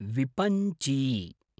विपञ्ची